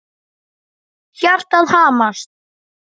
Hjartað hamast.